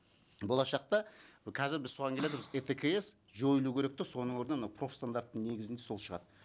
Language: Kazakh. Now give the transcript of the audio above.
болашақта қазір біз соған келе жатырмыз еткс жойылу керек те соның орнына мынау профстандарттың негізінде сол шығады